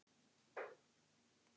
Þeir voru fullir af alls kyns dóti.